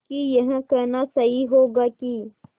कि यह कहना सही होगा कि